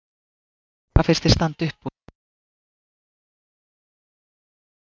Guðný: Hvað finnst þér standa upp úr í leik landsliðsins á þessu móti?